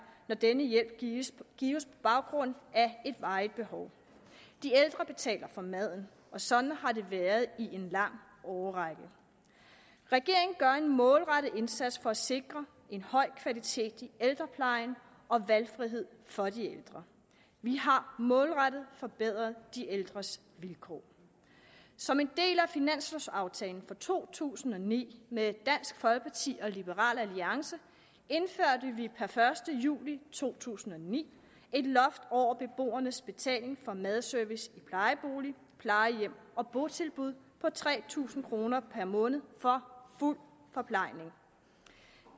når denne hjælp gives gives på baggrund af et varigt behov de ældre betaler for maden og sådan har det været i en lang årrække regeringen gør en målrettet indsats for at sikre en høj kvalitet i ældreplejen og valgfrihed for de ældre vi har målrettet forbedret de ældres vilkår som en del af finanslovaftalen for to tusind og ni indførte med dansk folkeparti og liberal alliance per første juli to tusind og ni et loft over beboernes betaling for madservice i plejebolig plejehjem og botilbud på tre tusind kroner per måned for fuld forplejning